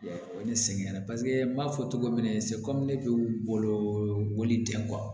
O ye ne sɛgɛn paseke n b'a fɔ cogo min na ne bɛ u bolo boli den